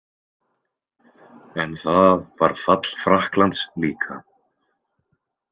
En það var fall Frakklands líka